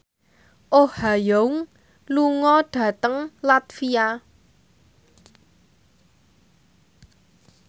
Oh Ha Young lunga dhateng latvia